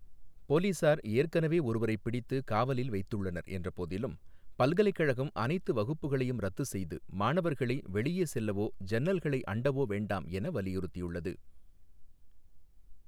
போலீசார் ஏற்கனவே ஒருவரைப் பிடித்து காவலில் வைத்துள்ளனர் என்றபோதிலும், பல்கலைக்கழகம் அனைத்து வகுப்புகளையும் ரத்து செய்து மாணவர்களை வெளியே செல்லவோ ஜன்னல்களை அண்டவோ வேண்டாம் என வலியுறுத்தியுள்ளது.